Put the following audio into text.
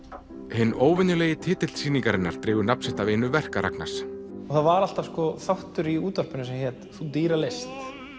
hinn óvenjulegi titill sýningarinnar dregur nafn sitt af einu verka Ragnars það var alltaf þáttur í útvarpinu sem hét þú dýra list